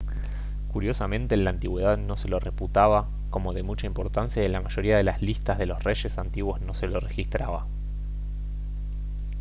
curiosamente en la antigüedad no se lo reputaba como de mucha importancia y en la mayoría de las listas de los reyes antiguos no se lo registraba